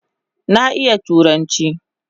Na iya turanchi